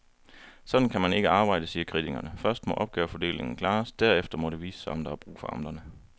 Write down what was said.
Sådan kan man ikke arbejde, siger kritikerne, først må opgavefordelingen klares, derefter må det vise sig, om der er brug for amterne.